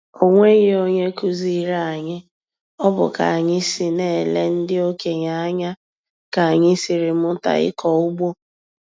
O nweghi onye kụziiri anyị, ọ bụ ka anyị na-ele ndị okenye anya ka anyị siri mụta ịkọ ụgbọ.